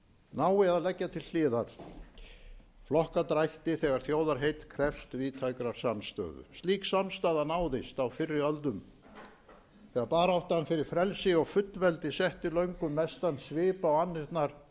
nái að leggja til hliðar flokkadrætti þegar þjóðarheill krefst víðtækrar samstöðu slík samstaða náðist á fyrri öldum þegar baráttan fyrir frelsi og fullveldi setti löngum mestan svip á annirnar í þessum